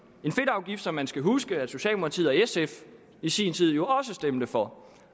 en fedtafgift som man skal huske at socialdemokratiet og sf i sin tid jo også stemte for